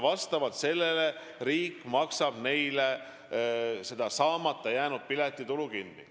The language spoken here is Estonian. Vastavalt sellele maksab riik neile saamata jäänud piletitulu kinni.